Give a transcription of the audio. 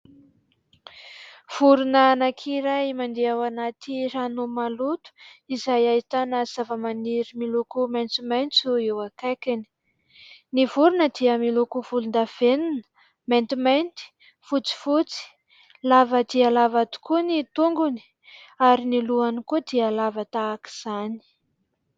Vorona anakiray mandeha ao anaty rano maloto izay ahitana zava_maniry miloko maitsomaitso eo akaikiny. Ny vorona dia miloko volondavenina, maintimainty, fotsifotsy ; lava dia lava tokoa ny tongony ary ny lohany koa dia lava tahaka izany.